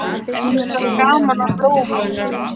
En hún hefur samt gaman af blómunum.